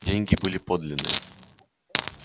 деньги были подлинные